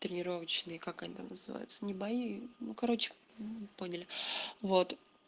тренировочные как они там называются не бои ну короче поняли вот